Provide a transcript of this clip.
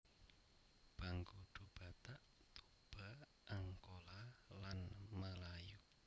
Bangkudu Batak Toba Angkola lan Melayu